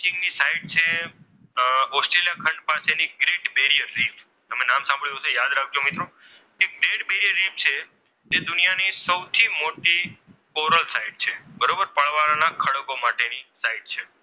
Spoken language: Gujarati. ખંડ પાસે ગ્રેટ બેરિયર લિફ તમે નામ સાંભળ્યું હશે યાદ રાખજો મિત્રો જે ગ્રેટ બેરિયર લિફ છે તે દુનિયાની સૌથી મોટી કોરલ સાઇટ છે બરોબર પરવાળા ના ખડકો માટેની સાઈટ છે.